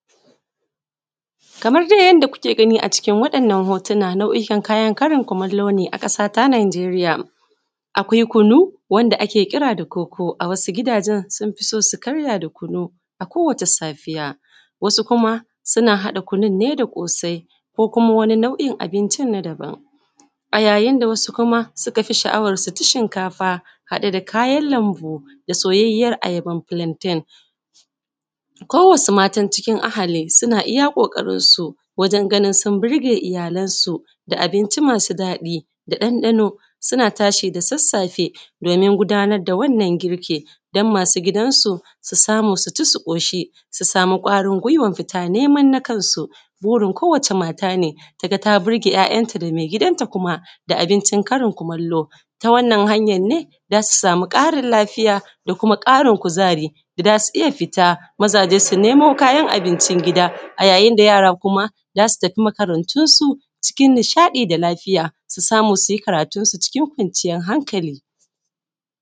kamar dai yanda kuke gani a cikin wannan hotuna ɗauƙan kayan karin kumallo ne na Naijeriya. Akwai kunu da ake kira da koko, wasu gidajen sun fi so su karya da kunu a kowace safiya, wasu kuma suna haɗa kunu ne da ƙosai ko kuma wani na’u in abinci na daban. A yayin da wasu kuma suke sha’awan su ci shiŋkafa haɗe da kayan lambu da soyayyiyen ayaba na filanten. ko wasu matan cikin ahali suna iya ƙoƙarin su wajen ganin su birge iyalansu da abinci masu daɗi da ɗandanu. Suna tashi da sassafe domin gudanar da wannan girki, don masu gidansu su samu su ci, su ƙoshi, su samu ƙwarin gwiyawan fita neman na kansu. Burin kowace mata ne ta ga ta birge ‘ya’yanta da me gidanta kuma da abinci na karin kumallo, ta wannan hanya ne za su samu ƙarin lafiya da kuma ƙarin kuzari, da za su iya fita. Mazaje su nemo kayan abinci gida. a yayin da yara kuma za su tafi makarantunsu cikin nishaɗi da lafiya, su samu su yi karatunsu cikin kwanciyan haŋƙali.